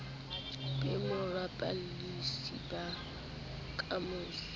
be borapolasi ba kamoso o